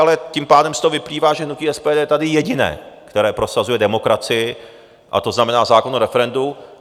Ale tím pádem z toho vyplývá, že hnutí SPD je tady jediné, které prosazuje demokracii, a to znamená zákon o referendu.